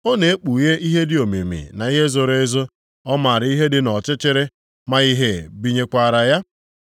Ọ na-ekpughe ihe dị omimi na ihe zoro ezo; Ọ maara ihe dị nʼọchịchịrị, ma ìhè binyekwara ya.